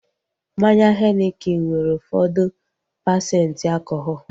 Mmanya henikin nwere ụfọdụ pasenti alkọhọl